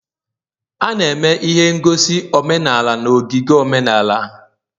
A na-eme ihe ngosi omenala na ogige omenala